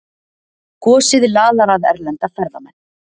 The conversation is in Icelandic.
Gosið laðar að erlenda ferðamenn